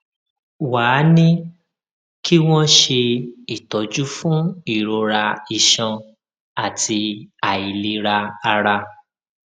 ṣé mo lè lóyún tí mo bá ní ìbálòpò ní ọjọ tí mo fọ àyún mi